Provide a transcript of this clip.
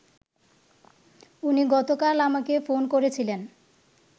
উনি গতকাল আমাকে ফোন করেছিলেন